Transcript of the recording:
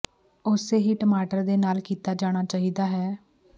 ਉਸੇ ਹੀ ਟਮਾਟਰ ਦੇ ਨਾਲ ਕੀਤਾ ਜਾਣਾ ਚਾਹੀਦਾ ਹੈ